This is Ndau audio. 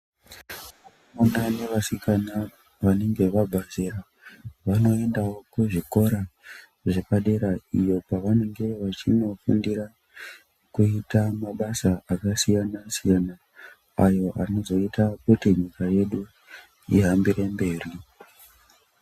Vakomana nevasikana vanenge vabva zera vanoendawo kuzvikora zvepadera iyo kwavanenge vachinofundira kuita mabasa akasiyana siyana ayo anozoita kuti nyika yedu ihambire mberi.